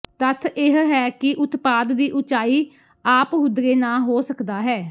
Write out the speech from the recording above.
ਤੱਥ ਇਹ ਹੈ ਕਿ ਉਤਪਾਦ ਦੀ ਉਚਾਈ ਆਪਹੁਦਰੇ ਨਾ ਹੋ ਸਕਦਾ ਹੈ